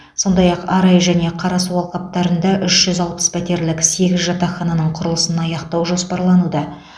сондай ақ арай және қарасу алқаптарында үш жүз алпыс пәтерлік сегіз жатақхананың құрылысын аяқтау жоспарлануда